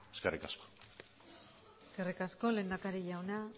eskerrik asko eskerrik asko lehendakari jauna